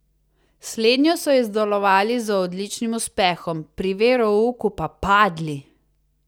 Slednjo so izdelovali z odličnim uspehom, pri verouku pa padli!